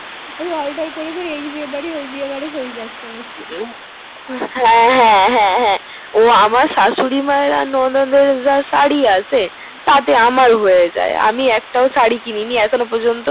করে করে এই বিয়ে বাড়ি ওই বিয়ে বাড়ি হয়ে যাচ্ছে হা হা হা আমার শাশুড়ি মায়ের আর ননদের যা সারি আছে তা তে আমের হয়ে যাই আমি এক তা সারি কিনিনি এখনো পর্যন্ত